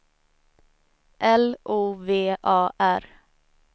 L O V A R